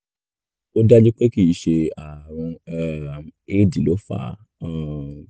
ó dájú pé kìí ṣe ààrùn um éèdì ló fà á um